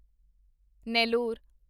Nellore